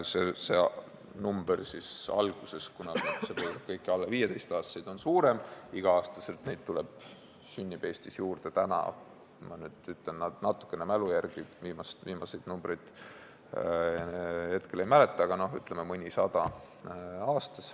See alguses mainitud number on tegelikult suurem, kuna hõlmab kõiki alla 15-aastaseid ja igal aastal sünnib neid Eestis juurde – ütlen mälu järgi, viimaseid numbreid hetkel ei mäleta – umbes mõnisada.